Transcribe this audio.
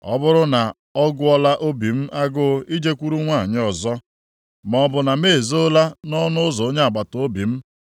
“Ọ bụrụ na ọ gụọla obi m agụụ ijekwuru nwanyị ọzọ, maọbụ na m ezoola nʼọnụ ụzọ onye agbataobi m,